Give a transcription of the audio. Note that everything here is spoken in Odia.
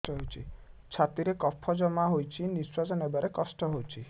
ଛାତିରେ କଫ ଜମା ହୋଇଛି ନିଶ୍ୱାସ ନେବାରେ କଷ୍ଟ ହେଉଛି